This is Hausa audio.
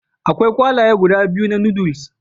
Akwai kwalaye guda biyu na Noodles